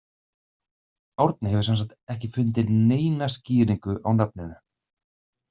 Árni hefur sem sagt ekki fundið neina skýringu á nafninu.